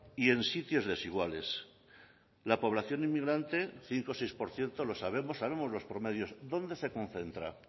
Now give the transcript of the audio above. y en sitios desiguales la población inmigrante cinco o seis por ciento lo sabemos sabemos los promedios dónde se concentra